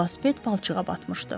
Velosiped palçığa batmışdı.